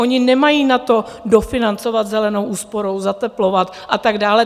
Oni nemají na to, dofinancovat zelenou úsporou, zateplovat a tak dále.